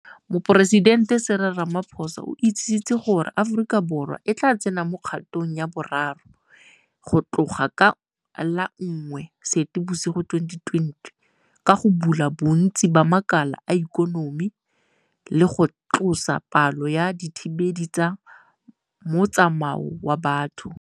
Moporesidente Cyril Ramaphosa o itsisitse gore Aforika Borwa e tla tsena mo kgatong ya boraro go tloga ka la 1 Seetebosigo 2020 ka go bula bontsi ba makala a ikonomi le go tlosa palo ya dithibelo tsa motsamao wa batho.